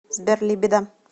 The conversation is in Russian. сбер либидо